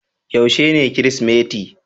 Yaushe ne kirisimeti?